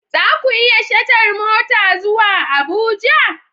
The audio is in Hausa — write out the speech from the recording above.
Za ku yi shatar mota zuwa Abuja?